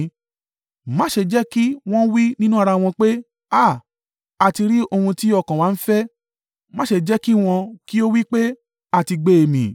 Má ṣe jẹ́ kí wọn wí nínú ara wọn pé, “Háà! A ti rí ohun tí ọkàn wa ń fẹ́!” Má ṣe jẹ́ kí wọn kí ó wí pé, “A ti gbé e mì.”